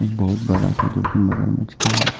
बहोत बड़ा सा जो की मगरमच्छ का है।